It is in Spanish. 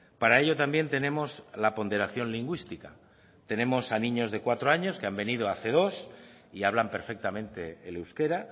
para ello también tenemos la ponderación lingüística tenemos a niños de cuatro años que han venido hace dos y hablan perfectamente el euskera